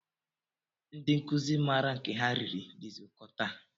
Ndị nkụzi maara nke ha riri dịzi ụkọ taa